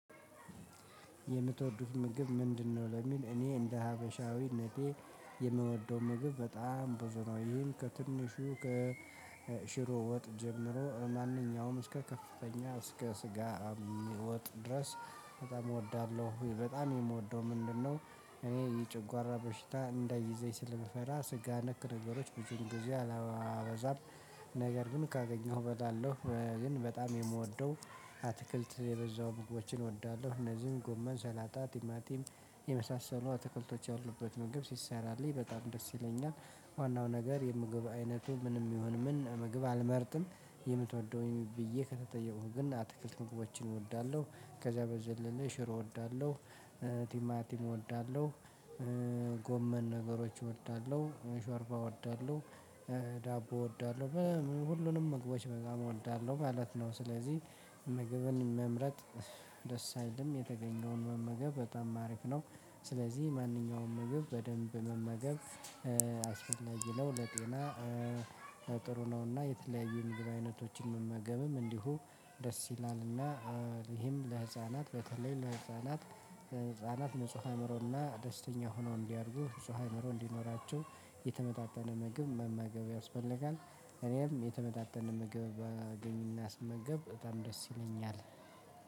የምትወዱት ምግብ ምንድነው ለሚል እኔ እንደ ሀበሻዊነቴ የምወደው ምግብ በጣም ብዙ ነው ይህም ከትንሹ ከሽሮ ወጥ ጀምሮ ማንኛውም እስከ ከፍተኛ እስከ ስጋ ወጥ ድረስ በጣም እወዳለሁ በጣም የምወደው ምንድነው? እኔ የጨጓራ በሽታ እንዳይዘኝ ስለምፈራ ስጋ ነክ ነገሮች ብዙን ጊዜ አላበዛም ነገር ግን ካገኘሁ እበላለሁ። እኔ ግን በጣም የምወደው አትክልት የበዛው ምግቦችን እወዳለሁ እነዚህም ጎመን ሰላጣ ቲማቲም የመሳሰሉ አትክልቶች ያሉበት ምግብ ሲሰራልኝ በጣም ደስ ይለኛል። ዋናው ነገር የምግብ አይነቱ ምንም ይሁን ምን ምግብ አልመርጥም። የምትወደውን ብዬ ከተጠየኩኝ ግን አትክልት ምግቦችን እወዳለሁ። ከዛ በዘለለ ሽሮ እወዳለሁ። ቲማቲም እወዳለሁ። ጎመን ነገሮች እወዳለሁ። ሾርባ እወዳለሁ። ዳቦ እወዳለሁ። ሁሉንም ምግቦች በጣም እወዳለሁ ማለት ነው። ስለዚህ ምግብን መምረጥ ደስ አይልም የተገኘውን መመገብ በጣም አሪፍ ነው። ስለዚህ ማንኛውም ምግብ በደንብ መመገብ አስፈላጊ ነው ለጤና። ጥሩ ነውና የተለያዩ የምግብ አይነቶችን መመገብም እንዲሁ ደስ ይላልና። ይሄም ለህፃናት በተለይ ለህፃናት ህፃናት ንጹህ አእምሮና ደስተኛ ሆኖ እንዲያድጉ ንጹህ አእምሮ እንዲኖራቸው የተመጣጠነ ምግብ መመገብ ያስፈልጋል እኔም የተመጣጠነ ምግብ ባገኝና ስመገብ በጣም ደስ ይለኛል።